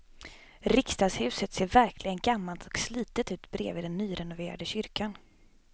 Riksdagshuset ser verkligen gammalt och slitet ut bredvid den nyrenoverade kyrkan.